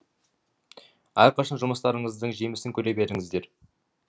әрқашан жұмыстарыңыздың жемісін көре беріңіздер